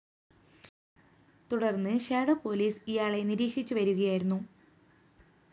തുടര്‍ന്ന് shadow police ഇയാളെ നിരീക്ഷിച്ചുവരുകയായിരുന്നു